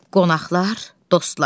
Qonaqlar, dostlar!